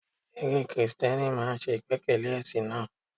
Eré Kristẹni máa ń ṣe ìgbẹ́kẹ̀lé ẹ̀sìn náà.